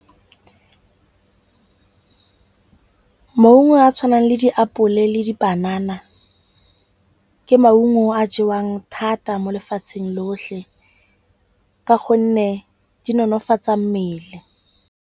Maungo a a tshwanang le ditapole le dipanana ke maungo a jewang thata mo lefatsheng lotlhe. Ka gonne di nonofatsa mmele.